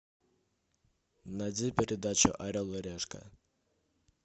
найди передачу орел и решка